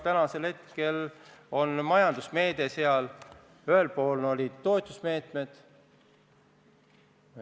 Tänasel hetkel on majandusmeede, on toetusmeetmed.